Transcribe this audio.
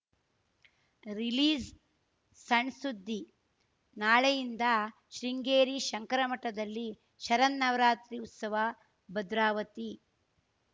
release ಸಣ್‌ಸುದ್ದಿ ನಾಳೆಯಿಂದ ಶೃಂಗೇರಿ ಶಂಕರ ಮಠದಲ್ಲಿ ಶರನ್ನವರಾತ್ರಿ ಉತ್ಸವ ಭದ್ರಾವತಿ